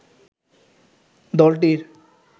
দলটির